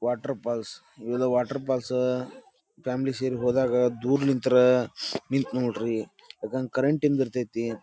Water falls ಇದು water falls family ಸೇರಿ ಹೋದಾಗ ದೂರ್ಲಿಂತ್ರಾ ನಿಂತ್ ನೋಡ್ರಿ ಯಾಕಂದ್ ಕರೆಂಟಿಂದ್ ಇರ್ತೈತಿ.